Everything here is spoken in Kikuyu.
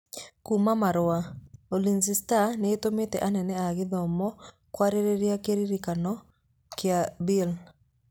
(Kuuma Marũa)Ulinzi Stars nĩ ĩtũmĩte anene ao Gĩthumo kwarĩrĩria kĩrĩkanĩro kĩa Bill.